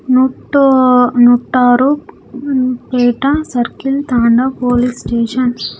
నూట నూట ఆరు ఏటా సర్కిల్ తండా పోలీస్ స్టేషన్ .